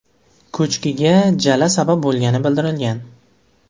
Ko‘chkiga jala sabab bo‘lgani bildirilgan.